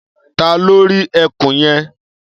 Ta ló rí ẹkùn yẹn?